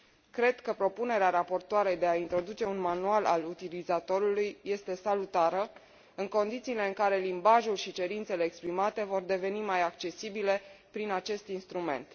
Cred că propunerea raportoarei de a introduce un manual al utilizatorului este salutară în condițiile în care limbajul și cerințele exprimate vor deveni mai accesibile prin acest instrument.